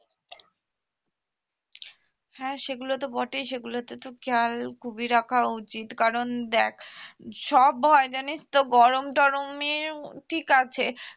হ্যাঁ সেগুলো তো বটেই সেগুলো তে তো খেয়াল খুবই রাখা উচিত কারণ দ্যাখ সব হয় জানিস তো গরম টরমেও ঠিক আছে